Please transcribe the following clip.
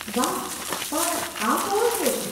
વાહ, પણ આ કયો શો છો?